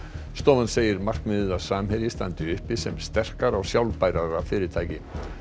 stofan segir markmiðið að Samherji standi uppi sem sterkara og sjálfbærara fyrirtæki